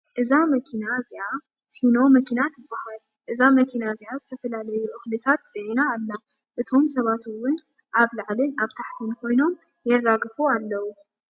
እዛ መኪና እዚኣ ሲኖ መኪና ትባሃል። እዛ መኪና እዚኣ ዝተፈላለዩ እክልታት ፅዒና ኣላ። እቶም ሰባት እውን ኣብ ላዕልን ኣብ ታሕቲን ኮይኖም የራግፉ ኣለዉ።